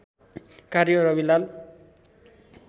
कार्य रविलाल